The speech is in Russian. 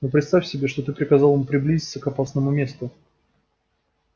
но представь себе что ты приказал ему приблизиться к опасному месту